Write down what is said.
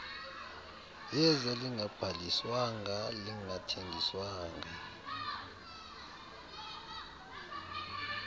yeza lingabhaliswanga lingathengiswa